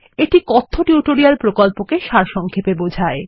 এটি কথ্য টিউটোরিয়াল প্রকল্পকে সারসংক্ষেপে বোঝায়